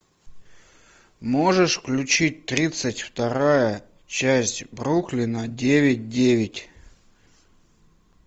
можешь включить тридцать вторая часть бруклина девять девять